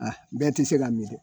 Aa bɛɛ ti se k'a mi ko